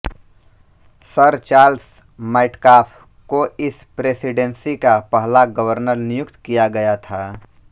sir Charles Metcalfe को इस presidency का पहला गवर्नर नियुक्त किया गया था